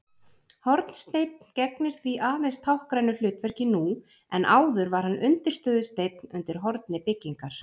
Hornsteinn gegnir því aðeins táknrænu hlutverki nú en áður var hann undirstöðusteinn undir horni byggingar.